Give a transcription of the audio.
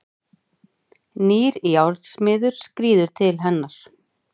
Nýr járnsmiður skríður til hennar.